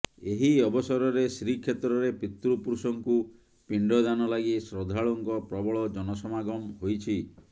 ଏହି ଅବସରରେ ଶ୍ରୀକ୍ଷେତ୍ରରେ ପିତୃପୁରୁଷଙ୍କୁ ପିଣ୍ଡଦାନ ଲାଗି ଶ୍ରଦ୍ଧାଳୁଙ୍କ ପ୍ରବଳ ଜନସମାଗମ ହୋଇଛି